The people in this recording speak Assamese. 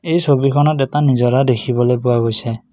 এই ছবিখনত এটা নিজৰা দেখিবলৈ পোৱা গৈছে।